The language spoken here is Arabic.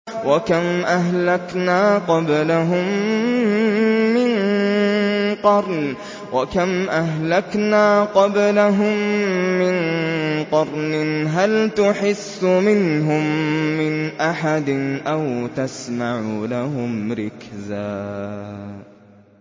وَكَمْ أَهْلَكْنَا قَبْلَهُم مِّن قَرْنٍ هَلْ تُحِسُّ مِنْهُم مِّنْ أَحَدٍ أَوْ تَسْمَعُ لَهُمْ رِكْزًا